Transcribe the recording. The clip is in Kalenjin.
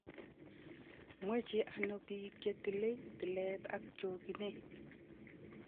Mwechi ano biik chetile tilet an chokinet.